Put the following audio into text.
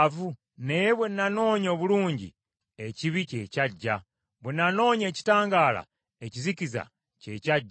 Naye bwe nanoonya obulungi, ekibi kye kyajja; bwe nanoonya ekitangaala, ekizikiza kye kyajja.